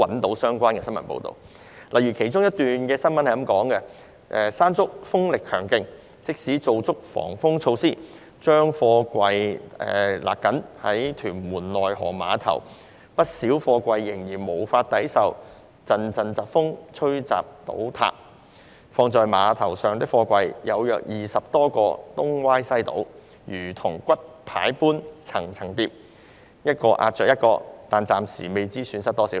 當時有這一則報道："'山竹'風力強勁，即使做足防風措施，將貨櫃繫緊，屯門內河碼頭不少貨櫃仍然無法抵受陣陣疾風吹襲倒塌......放在碼頭上的貨櫃，有約20多個東歪西倒，如同骨牌般'層層疊'，一個壓着一個，但暫未知損失多少。